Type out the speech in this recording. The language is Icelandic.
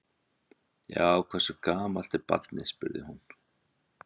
Já, hversu gamalt er barnið? spurði hún.